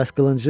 Bəs qılıncı?